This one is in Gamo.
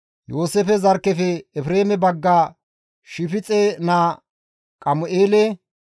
Yooseefe zarkkefe Efreeme bagga Shifixe naa Qamu7eele,